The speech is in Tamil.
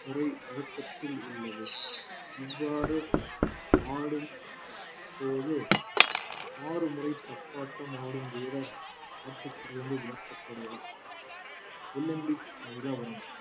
முறை வழக்கத்தில் உள்ளது இவ்வாறு ஆடும் போது ஆறு முறை தப்பாட்டம் ஆடும் வீரர் ஆட்டத்திலிருந்து விலக்கப்படுவார் ஒலிம்பிக்ஸ் நிலவரம்